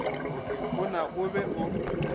a na o be o